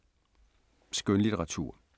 Skønlitteratur